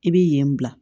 I bi yen bila